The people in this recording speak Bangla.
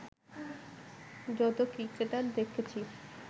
যতো ক্রিকেটার দেখেছি